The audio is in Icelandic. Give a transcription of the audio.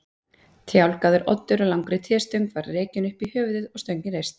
Tálgaður oddur á langri tréstöng var rekinn upp í höfuðið og stöngin reist.